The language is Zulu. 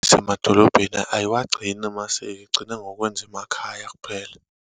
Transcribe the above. Nasemadolobheni, ayiwagcini amasiko, igcina ngokuwenza emakhaya kuphela.